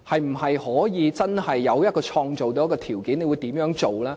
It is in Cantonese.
是否可以真正創造條件，局長會怎樣做呢？